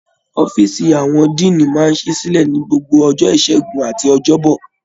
Ọ̀fiísí àwọn Diini máa n sí sílẹ ní gbogbo ọjọ́ ìṣẹgun àti ọjọbọ.